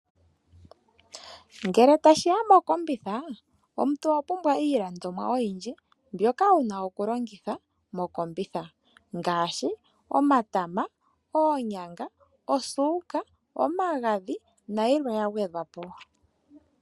Ngele tashiya mokombitha omuntu owapumbwa iilandomwa oyindji mbyoka wuna okulongithwa mokombitha ngaashi omatama, oonyanga, osuka, omagadhi na yilwe ya gwedhwa po.